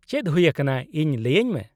-ᱪᱮᱫ ᱦᱩᱭ ᱟᱠᱟᱱᱟ ᱤᱧ ᱞᱟᱹᱭᱟᱹᱧ ᱢᱮ ᱾